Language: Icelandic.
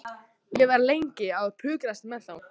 Ég var lengi að pukrast með þá.